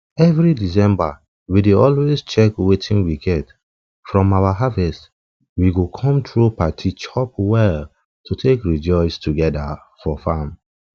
every december we dey always check wetin we get from our harvest we go come throw party chop well to take rejoice togeda for farm